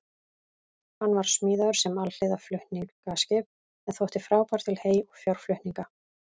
Hann var smíðaður sem alhliða flutningaskip en þótti frábær til hey- og fjárflutninga.